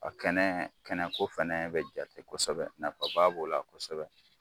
A kɛnɛ kɛnɛko fana bɛ jate kosɛbɛ nafaba b'o la kosɛbɛ.